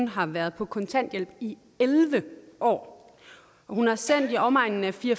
har været på kontanthjælp i elleve år hun har sendt i omegnen af fire